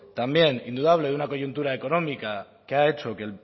también indudable de una coyuntura económica que ha hecho que